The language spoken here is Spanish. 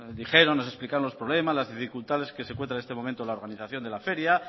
dijeron nos explicaron los problemas las dificultades que se encuentra en este momento la organización de la feria